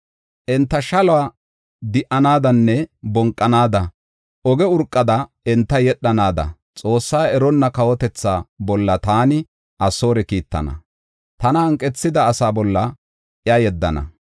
Enta shaluwa di77anaadanne bonqanaada; oge urqada enta yedhanaada Xoosse eronna kawotethaa bolla taani Asoore kiittana; tana hanqethida asaa bolla iya yeddana.